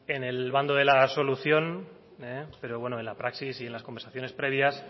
en el bando de la solución pero bueno en la praxis y en las conversaciones previas